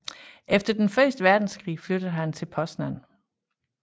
Efter første verdenskrig flyttede han til Poznań